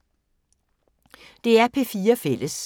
DR P4 Fælles